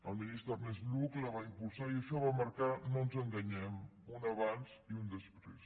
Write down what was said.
el ministre ernest lluch la va impulsar i això va marcar no ens enganyem un abans i un després